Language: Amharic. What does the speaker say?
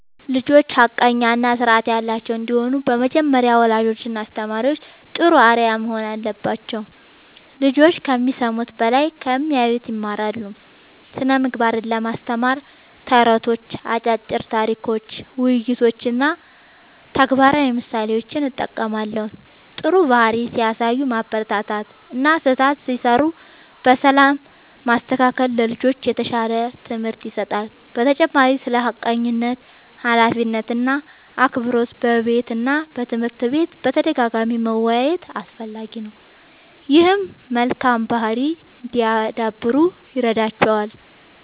ልጆች ሐቀኛ እና ስርዓት ያላቸው እንዲሆኑ በመጀመሪያ ወላጆችና አስተማሪዎች ጥሩ አርአያ መሆን አለባቸው። ልጆች ከሚሰሙት በላይ ከሚያዩት ይማራሉ። ስነ ምግባርን ለማስተማር ተረቶች፣ አጫጭር ታሪኮች፣ ውይይቶች እና ተግባራዊ ምሳሌዎችን እጠቀማለሁ። ጥሩ ባህሪ ሲያሳዩ ማበረታታት እና ስህተት ሲሠሩ በሰላም ማስተካከል ለልጆች የተሻለ ትምህርት ይሰጣል። በተጨማሪም ስለ ሐቀኝነት፣ ኃላፊነት እና አክብሮት በቤትና በትምህርት ቤት በተደጋጋሚ መወያየት አስፈላጊ ነው። ይህም መልካም ባህሪ እንዲያዳብሩ ይረዳቸዋል።